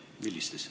Ja millistes?